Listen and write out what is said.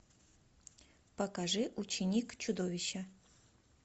покажи ученик чудовища